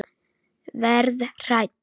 Verð hrædd.